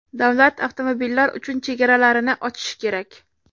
Davlat avtomobillar uchun chegaralarini ochishi kerak.